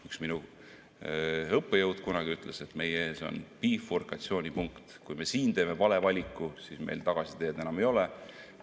Üks minu õppejõud kunagi ütles, et meie ees on bifurkatsioonipunkt: kui me siin teeme vale valiku, siis meil tagasiteed enam ei ole.